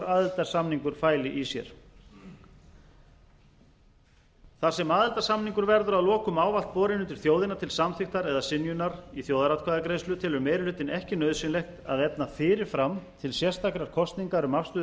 aðildarsamningur fæli í sér þar sem aðildarsamningur verður að lokum ávallt borinn undir þjóðina til samþykktar eða synjunar í þjóðaratkvæðagreiðslu telur meiri hlutinn ekki nauðsynlegt að efna fyrir fram til sérstakrar kosningar um afstöðu